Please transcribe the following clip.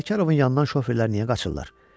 Sərkarovun yanından şoferlər niyə qaçırlar?